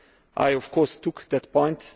I of course took that point.